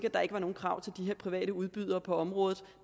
at der ikke var nogen krav til de her private udbydere på området